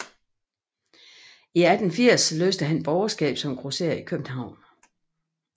I 1880 løste han borgerskab som grosserer i København